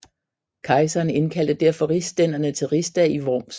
Kejseren indkaldte derfor rigsstænderne til rigsdag i Worms